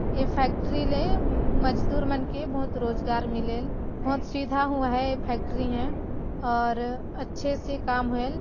ए factory ले मजदूर मन के बहुत रोजगार मिलेल बहुत सीधा हुआ है ये फैक्ट्री ह और अच्छे से काम होएल--